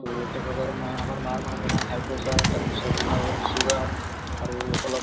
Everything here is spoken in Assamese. তʼ তেখেতৰ মা আমাৰ মাৰ মানে ধৰা high pressure তাৰ পিছত তোমাৰ sugar আৰু অলপ